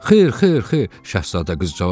Xeyr, xeyr, xeyr, Şahzadə qız cavab verdi.